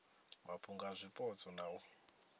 mafhungo a zwipotso na u